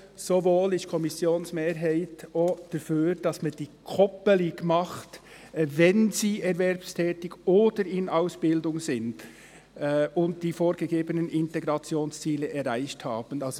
Zugleich ist die Kommissionmehrheit dafür, die Koppelung zu machen mit: «wenn sie erwerbstätig oder in Ausbildung sind und die vorgegebenen Integrationsziele erreicht haben».